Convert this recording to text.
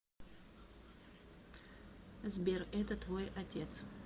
сбер это твой отец